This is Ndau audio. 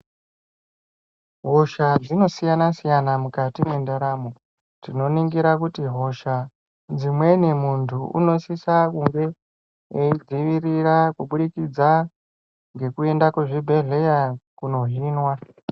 Hosha dzinosiyana siyana mukati mwendaramo. Tinoningira kuti hosha dzimweni muntu unosisa kunge eidzivirira kubudikidza ngekuenda kuzvibhedhleya kuno hinwa .